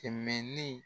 Kɛmɛ ni